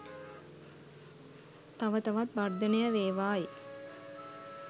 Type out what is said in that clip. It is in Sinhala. තව තවත් වර්ධනය වේවායි